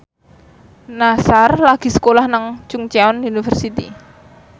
Nassar lagi sekolah nang Chungceong University